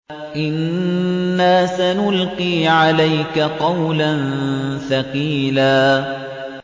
إِنَّا سَنُلْقِي عَلَيْكَ قَوْلًا ثَقِيلًا